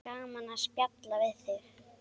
Gaman að spjalla við þig.